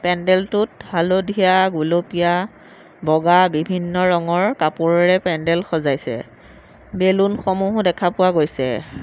পেণ্ডেলটোত হালধীয়া গুলপীয়া বগা বিভিন্ন ৰঙৰ কপোৰেৰে পেণ্ডেল সজাইছে বেলুনসমূহও দেখা পোৱা গৈছে।